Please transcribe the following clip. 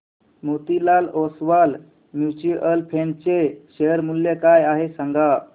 Motilal Oswal mutual fund चे share मूल्य काय आहे सांगा